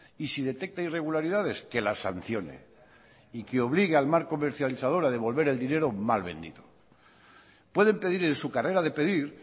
y si detecta irregularidades que las sancione y que obligue al mal comercializador a devolver el dinero mal vendido pueden pedir en su carrera de pedir